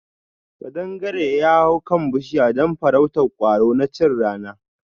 Ƙadangaren ya hau kan bushiya don farrautar kwaro na chin rana.